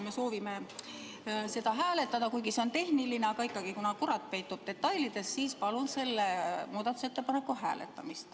Me soovime seda hääletada, kuigi see on tehniline – aga ikkagi, kuna kurat peitub detailides, siis palun seda muudatusettepanekut hääletada.